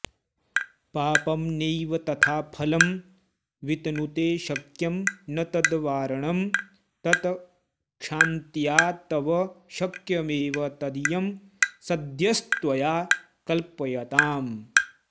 पापं नैव तथा फलं वितनुते शक्यं न तद्वारणं तत्क्षान्त्या तव शक्यमेव तदियं सद्यस्त्वया कल्प्यताम्